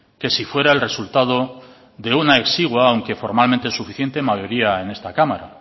que sí fuera el resultado de una exigua aunque formalmente suficiente mayoría en esta cámara